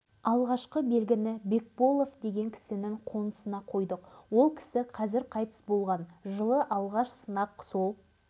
олардың ішінде біреуі кеңес одағының батыры еді сөйлесе келе олар мені үгіттеп қастарына ертіп алды сонымен